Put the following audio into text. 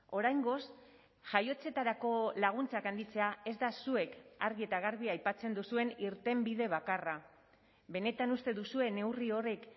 oraingoz jaiotzetarako laguntzak handitzea ez da zuek argi eta garbi aipatzen duzuen irtenbide bakarra benetan uste duzue neurri horrek